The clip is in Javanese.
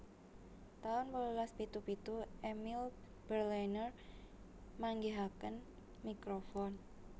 taun wolulas pitu pitu Emile Berliner manggihaken mikrofon